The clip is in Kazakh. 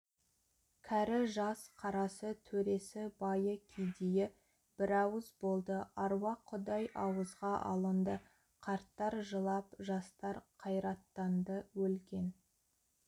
кәрі-жас қарасы төресі байы кедейі бірауыз болды аруақ құдай ауызға алынды қарттар жылап жастар қайраттанды өлген